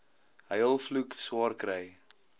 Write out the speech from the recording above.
huil vloek swaarkry